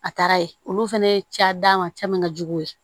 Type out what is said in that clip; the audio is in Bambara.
A taara ye olu fɛnɛ ye ca d'a ma caman ka jugu ye